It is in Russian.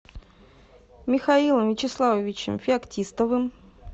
михаилом вячеславовичем феоктистовым